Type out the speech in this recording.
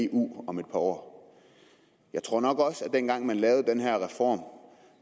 af eu om et par år jeg tror nok også at man dengang man lavede den her reform